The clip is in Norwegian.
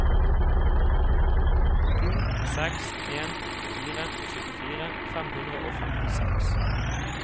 to seks en fire syttifire fem hundre og femtiseks